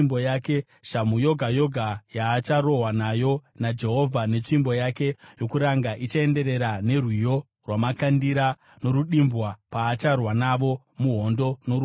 Shamhu yoga yoga yavacharohwa nayo naJehovha netsvimbo yake yokuranga, ichaenderana nerwiyo rwamakandira norudimbwa, paacharwa navo muhondo noruoko rwake.